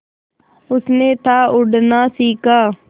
उसने था उड़ना सिखा